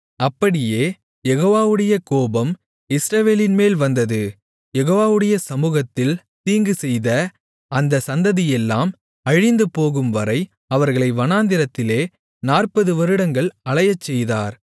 அப்படியே யெகோவாவுடைய கோபம் இஸ்ரவேலின் மேல் வந்தது யெகோவாவுடைய சமுகத்தில் தீங்குசெய்த அந்தச் சந்ததியெல்லாம் அழிந்துபோகும்வரை அவர்களை வனாந்திரத்திலே 40 வருடங்கள் அலையச்செய்தார்